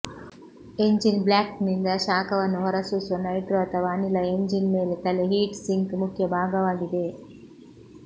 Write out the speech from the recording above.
engine ಬ್ಲಾಕ್ನಿಂದ ಶಾಖವನ್ನು ಹೊರಸೂಸುವ ನೈಟ್ರೋ ಅಥವಾ ಅನಿಲ ಎಂಜಿನ್ ಮೇಲೆ ತಲೆ ಹೀಟ್ ಸಿಂಕ್ ಮುಖ್ಯ ಭಾಗವಾಗಿದೆ